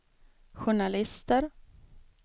journalister